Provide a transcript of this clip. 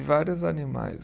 Vários animais